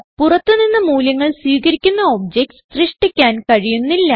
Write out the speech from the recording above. പുറത്ത് നിന്ന് മൂല്യങ്ങൾ സ്വീകരിക്കുന്ന ഒബ്ജക്റ്റ്സ് സൃഷ്ടിക്കാൻ കഴിയുന്നില്ല